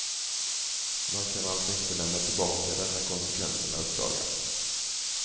Man kan alltså inte lämna tillbaka den när konsekvenserna uppdagats.